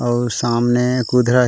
और सामने कुधरा है।